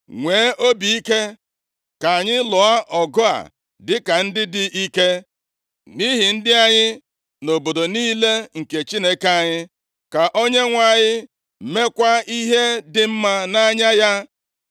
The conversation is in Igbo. Nwee obi ike, ka anyị lụọ ọgụ a dịka ndị dị ike, nʼihi ndị anyị, na obodo niile nke Chineke anyị. Ka Onyenwe anyị meekwa ihe dị mma nʼanya ya.”